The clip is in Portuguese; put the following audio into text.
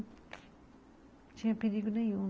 Não tinha perigo nenhum.